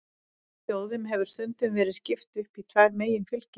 Þjóðum hefur stundum verið skipt upp í tvær meginfylkingar.